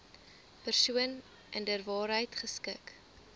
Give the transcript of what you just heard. persoon inderwaarheid geskik